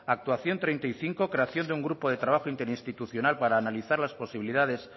actuación treinta y cinco creación de un grupo de trabajo interinstitucional para analizar las posibilidades